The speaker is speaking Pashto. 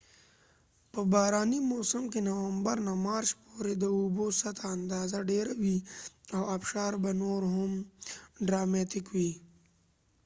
په بارانی موسم کې نومبرنه مارچ پورې، د اوبوسطحه اندازه ډیره وي او ابشار به نور هم ډراماتیک وي